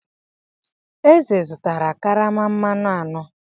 Eze zụtara karama mmanụ anọ.